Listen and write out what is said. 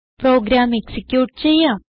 programme execute ചെയ്യാം